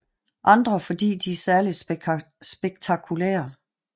Andre fordi de er særligt spektakulære